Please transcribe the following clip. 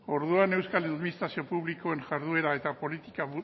orduan euskal administrazio publikoen jarduera eta politika